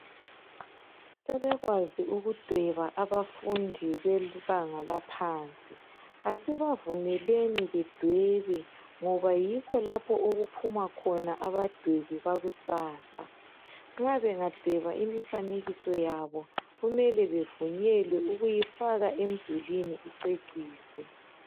Sebekwazi ukudweba abafundi bebanga laphansi. Asibavumeleni bedwebe ngoba yikho lapho okuphuma khona abadwebi bakusasa. Nxa bengadweba imifanekiso yabo kumele bevunyelwe ukuyifaka emdulini icecise.